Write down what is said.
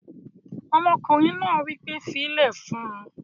Ọmọkùnrin náà wí pé "fílẹ̀ fún un!"